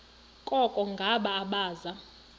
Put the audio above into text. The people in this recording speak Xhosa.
koko ngabo abaza